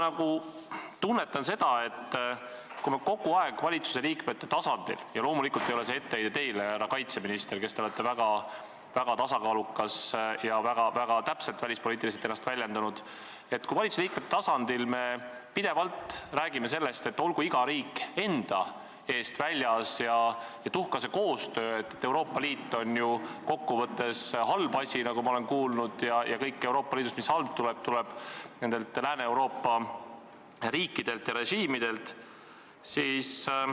Nüüd meil räägitakse valitsusliikmete tasemel – loomulikult ei ole see etteheide teile, härra kaitseminister, te olete väga tasakaalukas ja end välispoliitiliselt väga täpselt väljendanud – pidevalt sellest, et olgu iga riik enda eest väljas ja tühja sest koostööst, et Euroopa Liit on kokkuvõttes halb asi ja kõik halb tuleb Lääne-Euroopa riikidelt ja režiimidelt.